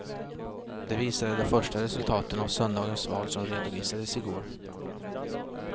Det visade de första resultaten av söndagens val som redovisades igår.